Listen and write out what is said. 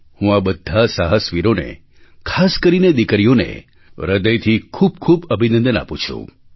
હું આ બધા સાહસવીરોને ખાસ કરીને દીકરીઓને હૃદયથી ખૂબ ખૂબ અભિનંદન આપું છું